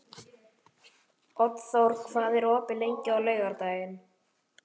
Oddþór, hvað er opið lengi á laugardaginn?